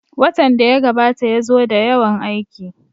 Watan da ya gabata ya zo da yawan aiki